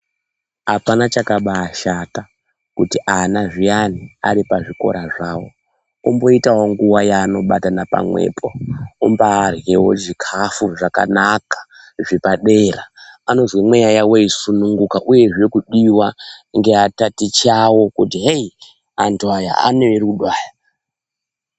Apana chakabaashata kuti ana zviyani aripazvikora zvawo omboita wo nguwa yaanobatana pamwepo ombaaryewo zvikafu zvakanaka zvepadera anozwe mweya yawo yeisununguka uyezve kudiwa ngeatatichi awo kuti heyi antu aya ane rudo aya.